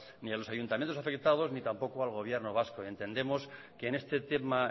ni a los ayuntamientos afectados ni tampoco al gobierno vasco entendemos que en este tema